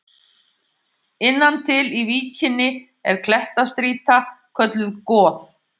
Innan til í víkinni er klettastrýta kölluð Goð.